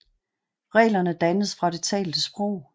Reglerne dannes fra det talte sprog